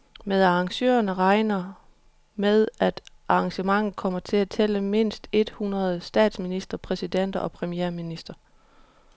Men arrangørerne regner med, at arrangementet kommer til at tælle mindst et hundrede statsministre, præsidenter og premierministre.